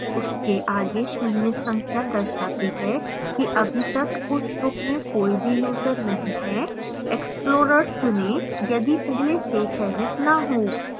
उसके आगे शून्य संख्या दर्शाती है कि अभी तक उस group में कोई भी यूजर नहीं है explorers चुनें यदि पहले से चयनित न हो